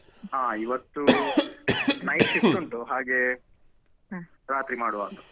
ಹಾ ಇವತ್ತು night shift ಉಂಟು ಹಾಗೆ ರಾತ್ರಿ ಮಾಡುವ ಅಂತ.